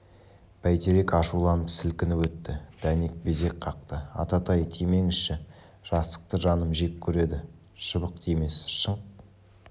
бәйтерек ашуланып сілкініп өтті дәнек безек қақты ататай тимеңізші жасықты жаным жек көреді шыбық тимес шыңқ